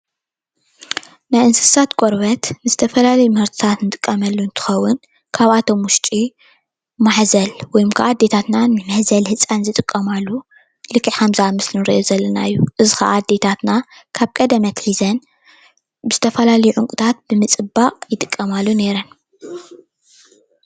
ናይ እንስሳት ቆርበት ንዝተፈላለዩ ምህርቲታት ንጥቀመሉ እንትኮን ካብኣቶም ውሽጢ ማሕዘል ወይከዓ ኣዴታትና ንመሕዘሊ ህፃን ዝጥቀማሉ ልክዕ ከምዛ ምስሊ ንሪኦ ዘለና እዩ። እዚ ከዓ ኣዴታትና ካብ ቀደም ኣትሒዘን ዝተፈላለዩ ዓይነታት ዕንቂታት ብምፅባቅ ይጥቀማሉ ነይረን።